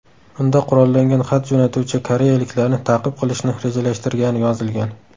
Unda qurollangan xat jo‘natuvchi koreyaliklarni ta’qib qilishni rejalashtirgani yozilgan.